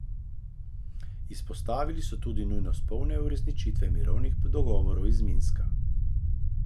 Izpostavili so tudi nujnost polne uresničitve mirovnih dogovorov iz Minska.